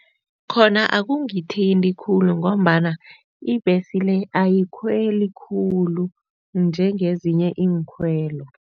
Khona akungithinta khulu ngombana ibhesi le ayikhweli khulu njengezinye iinkhwelo.